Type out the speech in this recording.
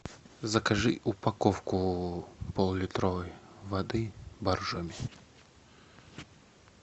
закажи упаковку поллитровой воды боржоми